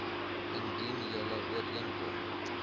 indien julle ooreenkom